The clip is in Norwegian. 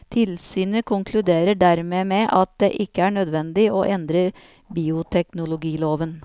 Tilsynet konkluderer dermed med at det ikke er nødvendig å endre bioteknologiloven.